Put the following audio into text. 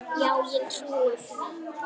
Já ég trúi því.